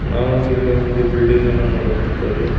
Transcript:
ನಾವು ಇಲ್ಲಿ ಒಂದು ಬಿಲ್ಡಿಂಗ್ ಅನ್ನು ನೋಡಕ್ ಹೊಂಥಾವ್ ರೀ.